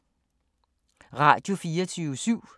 Radio24syv